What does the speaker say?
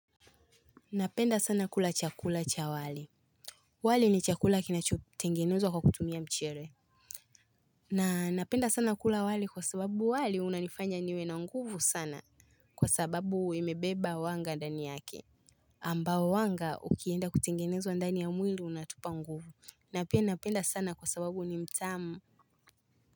Napenda sana kula chakula cha wali wali ni chakula kinachotengenezwa kwa kutumia mchele na napenda sana kula wali kwa sababu wali unanifanya niwe na nguvu sana kwa sababu imebeba wanga ndani yake ambao wanga ukienda kutengenezwa ndani ya mwili unatupa nguvu na pia napenda sana kwa sababu ni mtamu.